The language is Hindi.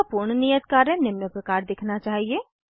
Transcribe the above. आपका पूर्ण नियत कार्य निम्न प्रकार दिखना चाहिए